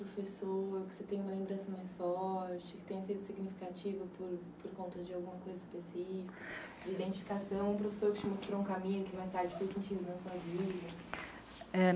professor que você tem uma lembrança mais forte, que tenha sido significativa por, por conta de alguma coisa específica, de identificação, um professor que te mostrou um caminho que mais tarde foi sentido na sua vida? É